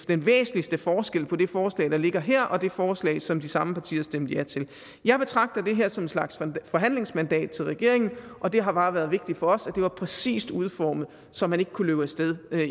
den væsentligste forskel på det forslag der ligger her og det forslag som de samme partier stemte ja til jeg betragter det her som en slags forhandlingsmandat til regeringen og det har bare været vigtigt for os at det var præcist udformet så man ikke kunne løbe af sted